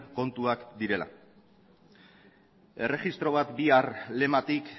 kontuak direla erregistro bat bihar lematik